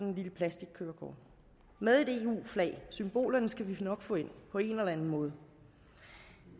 et lille plastickørekort med et eu flag symbolerne skal vi nok få ind på en eller anden måde